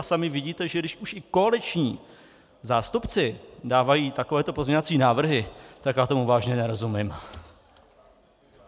A sami vidíte, že když už i koaliční zástupci dávají takovéto pozměňovací návrhy, tak já tomu vážně nerozumím.